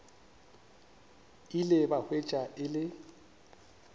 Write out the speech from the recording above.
ile ba hwetša e le